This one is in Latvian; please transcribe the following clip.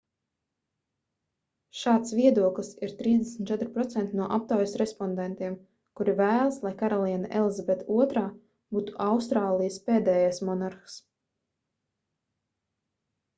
šāds viedoklis ir 34% no aptaujas respondentiem kuri vēlas lai karaliene elizabete ii būtu austrālijas pēdējais monarhs